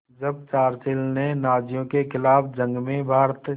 जब चर्चिल ने नाज़ियों के ख़िलाफ़ जंग में भारत